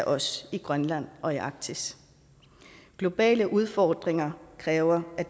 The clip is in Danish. os i grønland og i arktis globale udfordringer kræver af